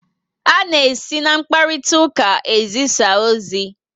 A na esi na mkparitauka ezisa ozi